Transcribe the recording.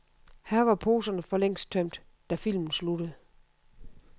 Her var poserne for længst tømt, da filmen sluttede.